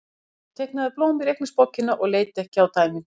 Hún sat og teiknaði blóm í reikningsbókina og leit ekki á dæmin.